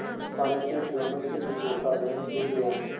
इस पानी से दोनों के दिलों का मैल धुल गया